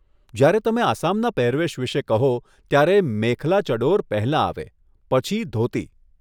જ્યારે તમે આસામના પહેરવેશ વિષે કહો, ત્યારે મેખલા ચડોર પહેલાં આવે, પછી ધોતી.